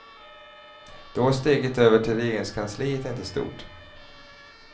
Då är steget över till regeringskansliet inte stort.